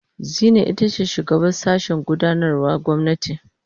Zinai ita ce shugabar sashen gudanarwar gwamnati.